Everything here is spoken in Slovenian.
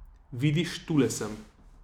Vidiš, tule sem.